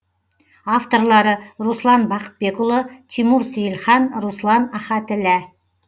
авторлары руслан бақытбекұлы тимур сейлхан руслан ахатіллә